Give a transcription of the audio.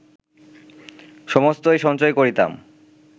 সমস্তই সঞ্চয় করিতাম